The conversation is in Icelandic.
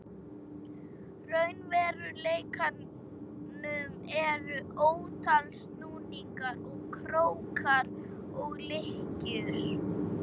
raunveruleikanum eru ótal snúningar og krókar og lykkjur.